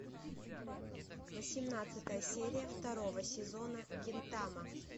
восемнадцатая серия второго сезона гинтама